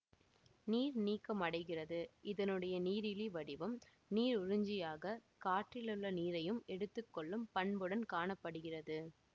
நீர்நீக்கமடைகிறது இதனுடைய நீரிலி வடிவம் நீருறிஞ்சியாக காற்றிலுள்ள நீரையும் எடுத்து கொள்ளும் பண்புடன் காண படுகிறது